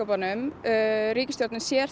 ríkisstjórnin sér